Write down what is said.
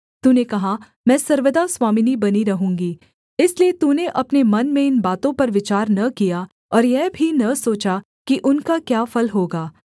तूने कहा मैं सर्वदा स्वामिनी बनी रहूँगी इसलिए तूने अपने मन में इन बातों पर विचार न किया और यह भी न सोचा कि उनका क्या फल होगा